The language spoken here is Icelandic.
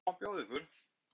Hvað má bjóða ykkur?